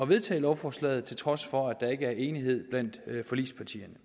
vedtage lovforslaget til trods for at der ikke er enighed blandt forligspartierne